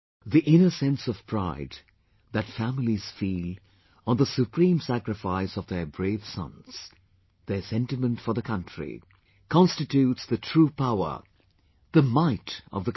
The inner sense of pride that families feel on the supreme sacrifice of their brave sons...their sentiment for the country, constitutes the true power, the might of the country